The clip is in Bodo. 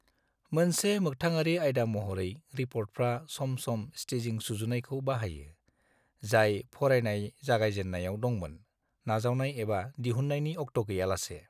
मोनसे मोखथाङारि आइदा महरै, रिपर्टफ्रा सम-सम स्टेजिं सुजुनायखौ बाहायो, जाय फरायनाय जागायजेननायाव दंमोन, नाजावनाय एबा दिहुन्नायनि अक्ट' गैयालासे।